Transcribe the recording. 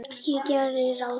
Ég geri ráð